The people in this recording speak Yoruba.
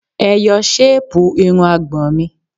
Ẹ yọ ṣéèpù irun àgbọ̀n mi!